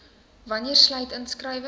wanneer sluit inskrywings